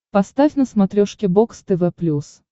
поставь на смотрешке бокс тв плюс